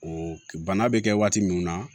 O bana bɛ kɛ waati min na